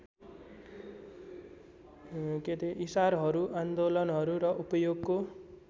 इशारहरू आन्दोलनहरू र उपयोगको